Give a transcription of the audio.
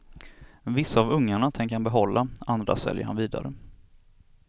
Vissa av ungarna tänker han behålla, andra säljer han vidare.